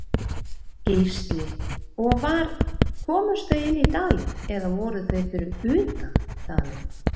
Gísli: Og var, komust þau inni í dalinn eða voru þau fyrir utan dalinn?